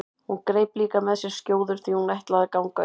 Hún greip líka með sér skjóður því hún ætlaði að ganga upp með